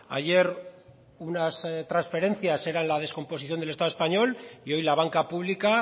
ayer unas transferencias eran la descomposición del estado español y hoy la banca pública